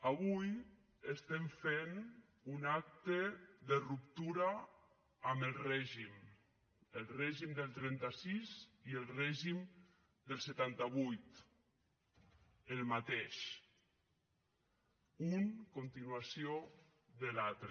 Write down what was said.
avui estem fent un acte de ruptura amb el règim el règim del trenta sis i el règim del setanta vuit el mateix un continuació de l’altre